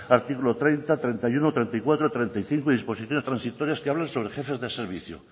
artículo treinta treinta y uno treinta y cuatro treinta y cinco disposiciones transitorias que hablan sobre jefes de servicio